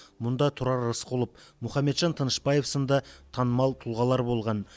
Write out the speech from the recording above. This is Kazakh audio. мұнда тұрар рысқұлов мұхамеджан тынышбаев сынды танымал тұлғалар болған